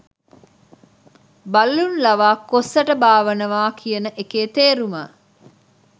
බළලුන් ලවා කොස් ඇට බාවනවා කියන එකේ තේරුම